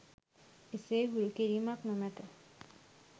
එසේ හුරු කිරීමක් නොමැත